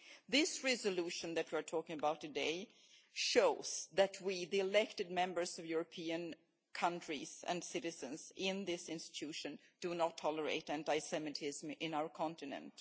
This resolution we are discussing today shows that we, the elected Members of European countries and citizens in this institution, do not tolerate anti Semitism in our continent.